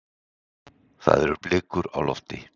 Það eru blikur á lofti.